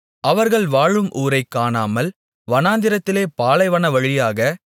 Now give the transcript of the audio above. அவர்கள் வாழும் ஊரைக்காணாமல் வனாந்திரத்திலே பாலைவனவழியாக